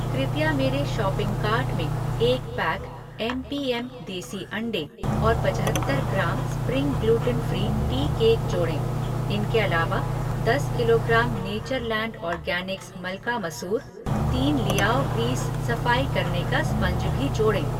कृपया मेरे shopping cart में एक पैक एम पी एम देशी अंडे और पचहत्तर gram spring gluten free tea cake जोड़ें। इनके अलावा, दस किलोग्राम नेचरलैंड ऑर्गैनिक्स मलका मसूर, तीन लियाओ ग्रीज़ सफ़ाई करने का स्पंज भी जोड़ें।